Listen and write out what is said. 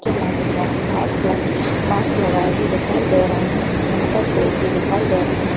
के मौम में मौक में माइकस लगाए माक्स लगाए हुए दिखाई दे रहे हैं यहां पर पेड़ भी दिखाई दे रहे है।